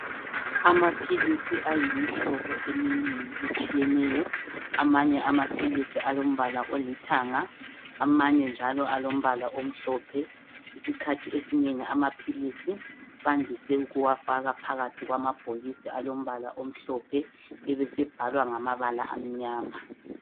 Amaphilisi ayimhlobo eminengi etshiyeneyo, amanye amaphilisi alombala olithanga amanye njalo alompala omhlophe. Isikhathi esinengi amaphilisi bandise ukuwafaka phakathi kwamabhokisi alombala omhlophe obesebhalwa ngamabala amnyama.